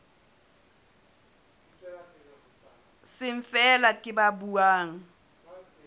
seng feela ke ba buang